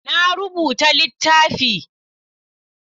Na rubuta littafi.